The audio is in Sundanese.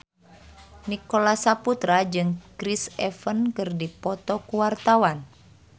Nicholas Saputra jeung Chris Evans keur dipoto ku wartawan